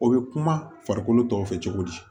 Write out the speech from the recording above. O bɛ kuma farikolo tɔ fɛ cogo di